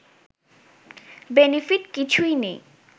benefit কিছুই নাই